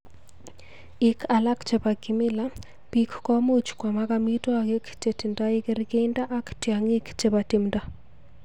Ik alak cheboo kimila, biik komuj kwamak amitwakik chetindoo kergeindoo ak tyang'ing chebo timndoo.